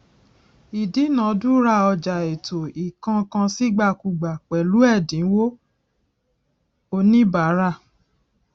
ìdúnadúrà ọjà ètò ìkónǹkansíìgbàkúgbà pẹlú ẹdínwó oníbàárà